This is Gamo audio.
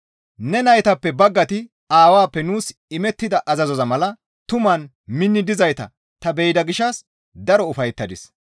Ne naytappe baggayti Aawappe nuus imettida azazoza mala tumaan minni dizayta ta be7ida gishshas daro ufayettadis.